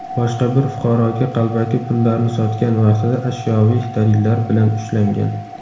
boshqa bir fuqaroga qalbaki pullarni sotgan vaqtida ashyoviy dalillar bilan ushlangan.